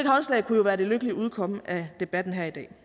håndslag kunne jo være det lykkelige udkomme af debatten her i dag